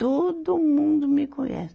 Todo mundo me conhece.